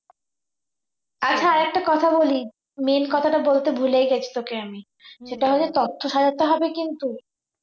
আচ্ছা আর একটা কথা বলি main কথাটা বলতে ভুলেই গিয়েছি তোকে আমি সেটা হলো তত্ত্ব সাজাতে হবে কিন্তু